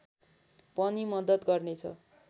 पनि मद्दत गर्नेछ